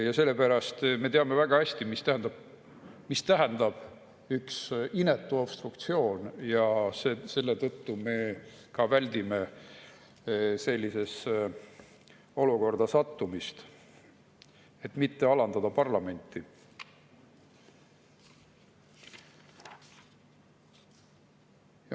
Ja sellepärast me teame väga hästi, mida tähendab üks inetu obstruktsioon, ja selle tõttu me väldime sellisesse olukorda sattumist, et mitte alandada parlamenti.